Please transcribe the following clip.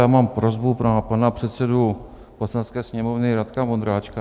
Já mám prosbu na pana předsedu Poslanecké sněmovny Radka Vondráčka.